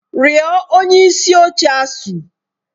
Rịọ onye isi oche ASUU!